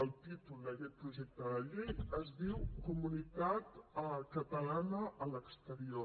el títol d’aquest projecte de llei es diu comunitat catalana a l’exterior